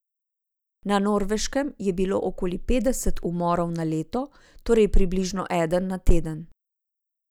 Na Norveškem je bilo okoli petdeset umorov na leto, torej približno eden na teden.